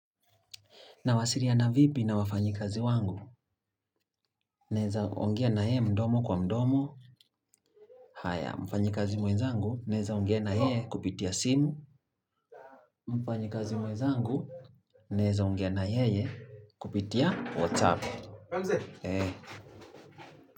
Nawasiliana vipi na wafanyi kazi wangu. Naweza ongea naye mdomo kwa mdomo. Haya, mfanyi kazi mwenzangu. Naweza ongea naye kupitia simu. Naweza ongea na yeye kupitia whatsup.